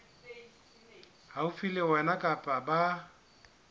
haufi le wena kapa ba